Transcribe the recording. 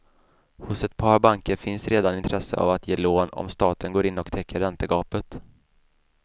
Hos ett par banker finns redan intresse av att ge lån om staten går in och täcker räntegapet.